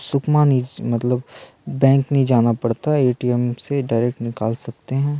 सुखमणि मतलब बैंक नइ जाना पड़ता ए. टी. एम से डायरेक्ट निकाल सकते हैं।